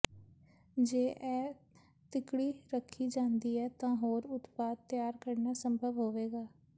ਜੇ ਇਹ ਤਿਕੜੀ ਰੱਖੀ ਜਾਂਦੀ ਹੈ ਤਾਂ ਹੋਰ ਉਤਪਾਦ ਤਿਆਰ ਕਰਨਾ ਸੰਭਵ ਹੋਵੇਗਾ